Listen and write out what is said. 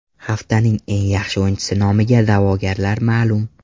Haftaning eng yaxshi o‘yinchisi nomiga da’vogarlar ma’lum.